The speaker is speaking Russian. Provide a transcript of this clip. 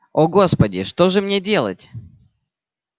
о господи что же мне делать